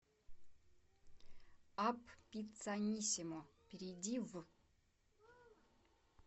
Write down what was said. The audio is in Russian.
апп пиццанисимо перейди в